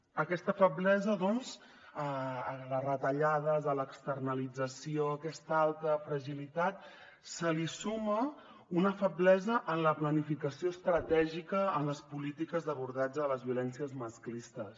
a aquesta feblesa doncs a les retallades a l’externalització a aquesta alta fragilitat se li suma una feblesa en la planificació estratègica en les polítiques d’abordatge de les violències masclistes